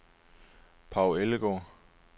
Paw Ellegaard